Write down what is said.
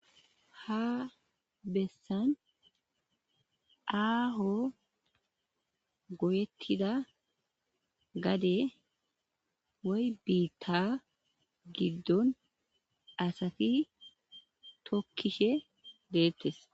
ha bessan aaho goyettida gade woy biitta giddon asati tokkishe deettes